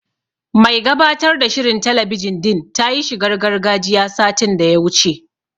Mai gabatar da shirin talabijin din ta yi shigar gargajiya, satin da ya wuce.